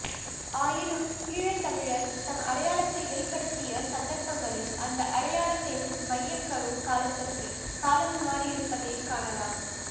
ஆயினும் ஈழத்தமிழர் தம் அடையாளத்தை வெளிப்படுத்திய சந்தர்ப்பங்களில் அந்த அடையாளத்தின் மையக்கரு காலத்திற்கு காலம் மாறியிருப்பதைக் காணலாம்